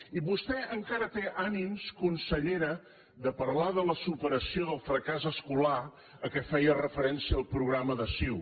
i vostè encara té ànims consellera de parlar de la superació del fracàs escolar a què feia referència el programa de ciu